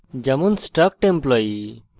উদাহরণস্বরূপ struct employee;